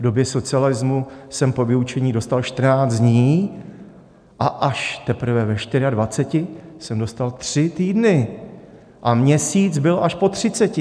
V době socialismu jsem po vyučení dostal 14 dní a až teprve ve 24 jsem dostal tři týdny a měsíc byl až po třiceti.